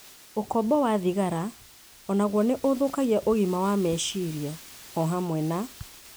Ũkombo wa thigara o naguo nĩ ũthũkagia ũgima wa meciria, o hamwe na